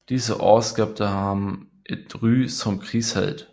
Disse år skabte ham et ry som krigshelt